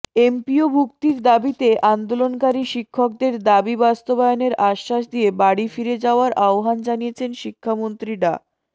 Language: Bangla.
এমপিওভুক্তির দাবিতে আন্দোলনকারী শিক্ষকদের দাবি বাস্তবায়নের আশ্বাস দিয়ে বাড়ি ফিরে যাওয়ার আহ্বান জানিয়েছেন শিক্ষামন্ত্রী ডা